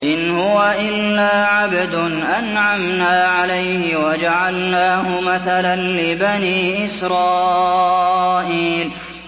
إِنْ هُوَ إِلَّا عَبْدٌ أَنْعَمْنَا عَلَيْهِ وَجَعَلْنَاهُ مَثَلًا لِّبَنِي إِسْرَائِيلَ